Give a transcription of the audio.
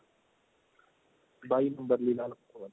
ਬਾਈ ਵਧੀਆ